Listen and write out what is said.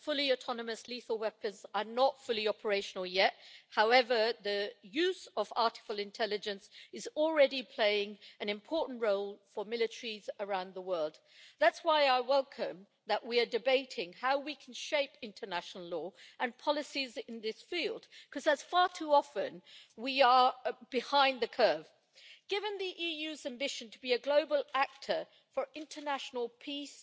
Mr President, recognising that fully autonomous lethal weapons are not fully operational yet, however the use of artificial intelligence is already playing an important role for military around the world. That is why I welcome that we are debating how we can shape international law and policies in this field, because far too often we are behind the curve. Given the EU's ambition to be a global actor for international peace